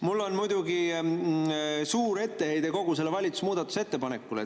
Mul on muidugi suur etteheide kogu sellele valitsuse muudatusettepanekule.